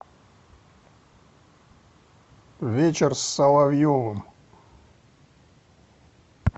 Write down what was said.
вечер с соловьевым